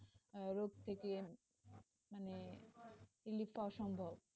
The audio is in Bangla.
রোগ থেকে মানে relief পাওয়া সম্ভব.